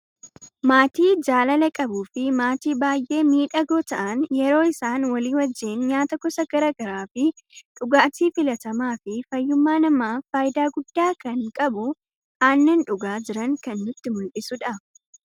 Maatii jaalala qabuu fi maatii baay'ee miidhagoo ta'aan yeroo isaan walii wajjin nyaata gosa garagaraa fi dhugaati filatama fi faayyumma namaf faayida gudda kan qabu aannan dhugaa jiran kan nutti muldhisudha.